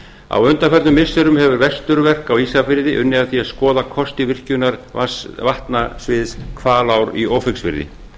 á undanförnum missirum hefur vesturverk á ísafirði unnið að því að skoða kosti virkjunar vatnasviðs hvalár í ófeigsfirði